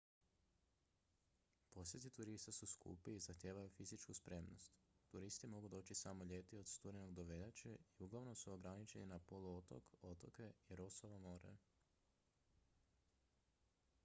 posjeti turista su skupi i zahtijevaju fizičku spremnost turisti mogu doći samo ljeti od studenog do veljače i uglavnom su ograničeni na poluotok otoke i rossovo more